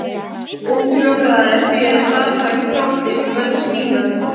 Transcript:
Útilokað er því að starfhæft prótín verði smíðað.